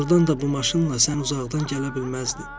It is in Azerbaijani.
Doğurdan da bu maşınla sən uzaqdan gələ bilməzdin.